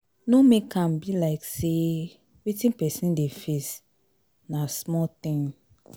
no make am be like sey wetin person dey face na small thing